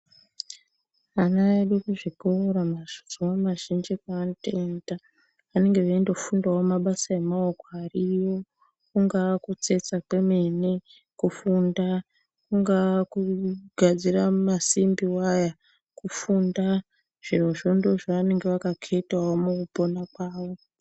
Ana edu kuzvikora mazuva mazhinji paanotoenda vanenge veinofundawo mabasa emaoko ariyo. kungaa kutsetsa kwemene, kufunda, kungaa kugadzira masimbi iwaya, kufunda. Zvirozvo ndoozvaanenge akaketawo mukupona kwavo.